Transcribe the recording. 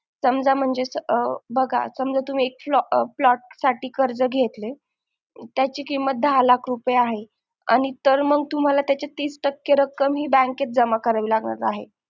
समजा म्हणजे बघा समजा तुम्ही एक flat साठी कर्ज घेतलंय तर त्याची किंमत दहा लाख रुपये आहे आणि तर मंग त्याची रक्कम तुम्हाला तीस टक्के रक्कम ही bank जमा करावी लागणार आहे